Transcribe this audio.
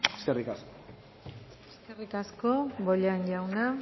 eskerrik asko eskerrik asko bollain jauna